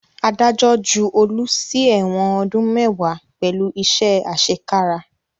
Adájọ́ ju Olu sí ẹ̀wọ̀n ọdún mẹ́wàá pẹ̀lú iṣẹ́ àṣekára